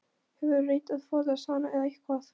Hefurðu reynt að forðast hana eða hvað?